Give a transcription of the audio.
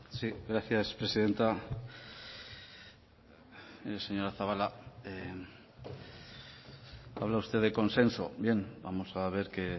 gracias presidenta mire señora zabala habla usted de consenso bien vamos a ver que